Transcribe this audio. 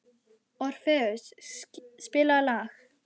Orfeus, spilaðu lag.